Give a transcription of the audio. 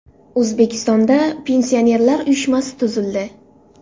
O‘zbekistonda Pensionerlar uyushmasi tuzildi.